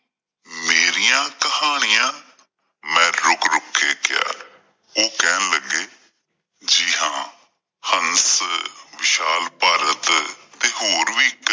ਮੇਰੀਆਂ ਕਹਾਣੀਆਂ? ਮੈਂ ਰੁਕ ਰੁਕ ਕੇ ਕਿਹਾ। ਓਹ ਕਹਿਣ ਲੱਗੇ ਜੀ ਹਾਂ ਹੰਸ ਵਿਸ਼ਾਲ ਭਾਰਤ ਤੇ ਹੋਰ ਵੀ